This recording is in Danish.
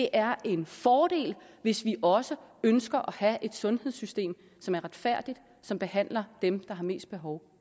er en fordel hvis vi også ønsker at have et sundhedssystem som er retfærdigt og som behandler dem der har mest behov